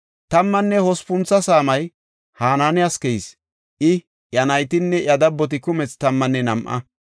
Tammanne hospuntho saamay Hanaaniyas keyis; I, iya naytinne iya dabboti kumethi tammanne nam7a.